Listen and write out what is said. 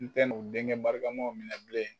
N tɛ n'o denkɛ barikamaw minɛ bilen